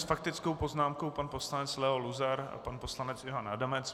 S faktickou poznámkou pan poslanec Leo Luzar a pan poslanec Ivan Adamec.